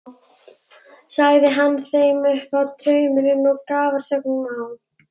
Sagði hann þeim nú upp drauminn og var grafarþögn á.